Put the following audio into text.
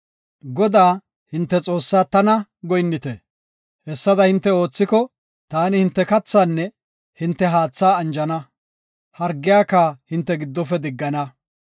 Godaa, hinte Xoossaa tana, goyinnite. Hessada hinte oothiko, taani hinte kathaanne hinte haatha anjana; hargiyaka hinte giddofe diggana.